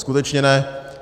Skutečně ne.